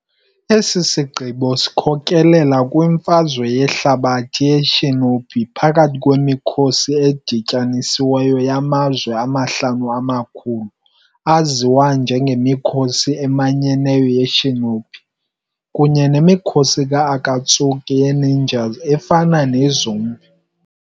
Eso sigqibo sikhokelela kwiMfazwe yeHlabathi yeShinobi phakathi kwemikhosi edityanisiweyo yaMazwe aHlanu aKhulu, aziwa njengeMikhosi eManyeneyo ye-Shinobi, kunye nemikhosi ka-Akatsuki ye-ninjas efana ne-zombie.